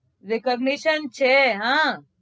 recavnation છે હા